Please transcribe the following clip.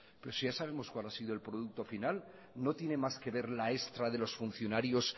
pero si ya sabemos cuál ha sido el producto final no tiene más que ver la extra de los funcionarios